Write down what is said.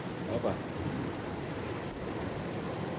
opad